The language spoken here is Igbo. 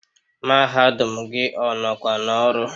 Mahadum gị ọ nọkwa n'ọrụ?